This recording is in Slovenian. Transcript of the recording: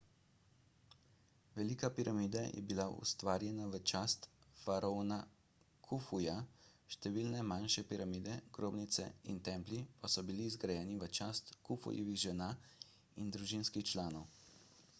velika piramida je bila ustvarjena v čast faraona kufuja številne manjše piramide grobnice in templji pa so bili zgrajeni v čast kufujevih žena in družinskih članov